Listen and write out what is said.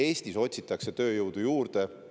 Eestis otsitakse tööjõudu juurde.